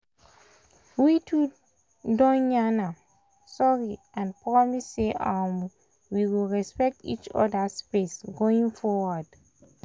we two don yan um sorry and promise say um we we go respect um each other space going forward.